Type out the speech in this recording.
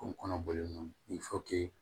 Kun kɔnɔ bɔlen don